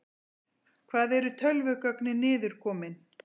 Hvar eru tölvugögnin niður komin?